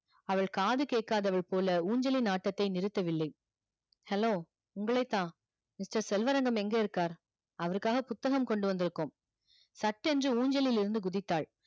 அவள் காது கேட்காதவள் போல ஊஞ்சலின் ஆட்டத்தை நிறுத்தவில்லை hello உங்களைத்தான் mister செல்வரங்கம் எங்க இருக்கார் அவருக்காக புத்தகம் கொண்டு வந்திருக்கோம் சட்டென்று ஊஞ்சலில் இருந்து குதித்தாள்